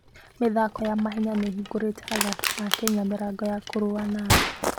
mĩthako ya mahenya nĩ ĩhingũrĩte athaki a Kenya mĩrango ya kũrũa thĩ yothe.